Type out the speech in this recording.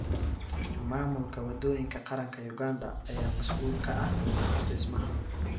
Maamulka waddooyinka qaranka Uganda ayaa mas’uul ka ah dhismaha.